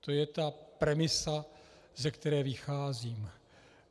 To je ta premisa, ze které vycházím.